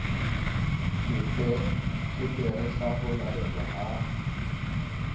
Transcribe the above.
sepeketere sa ho laelwa ha